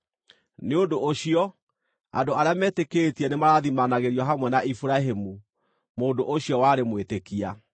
Nĩ ũndũ ũcio andũ arĩa metĩkĩtie nĩmarathimanagĩrio hamwe na Iburahĩmu, mũndũ ũcio warĩ mwĩtĩkia.